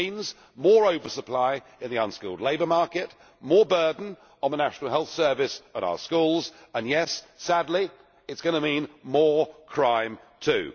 It means more oversupply in the unskilled labour market, a greater burden on the National Health Service and our schools and, yes sadly it is going to mean more crime too.